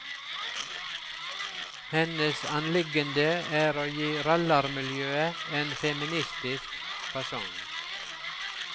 Hennes anliggende er å gi rallarmiljøet en feministisk fasong.